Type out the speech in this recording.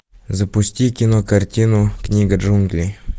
запусти кинокартину книга джунглей